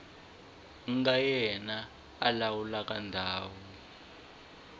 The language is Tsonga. nga yena a lawulaka ndhawu